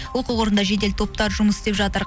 оқиға орнында жедел топтар жұмыс істеп жатыр